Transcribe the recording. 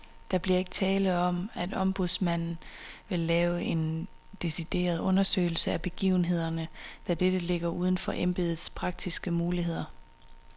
Der bliver ikke tale om, at ombudsmanden vil lave en decideret undersøgelse af begivenhederne, da dette ligger uden for embedets praktiske muligheder.